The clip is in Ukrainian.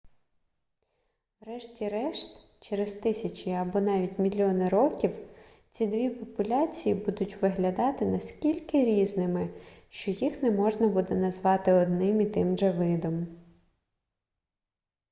врешті-решт через тисячі або навіть мільйони років ці дві популяції будуть виглядати настільки різними що їх не можна буде назвати одним і тим же видом